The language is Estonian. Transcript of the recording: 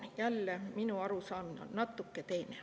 Jälle, minu arusaamine on natuke teine.